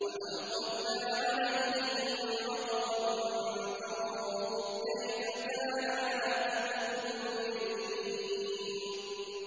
وَأَمْطَرْنَا عَلَيْهِم مَّطَرًا ۖ فَانظُرْ كَيْفَ كَانَ عَاقِبَةُ الْمُجْرِمِينَ